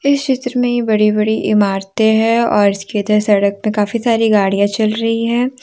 इस चित्र में ये बड़ी बड़ी इमारतें हैं और इसके सड़क पर काफी सारी गाड़ियां चल रही हैं।